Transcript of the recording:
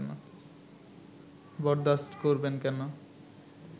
বরদাশত করবেন কেন